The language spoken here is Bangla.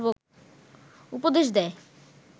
উপদেশ দেয়